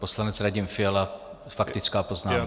Poslanec Radim Fiala, faktická poznámka.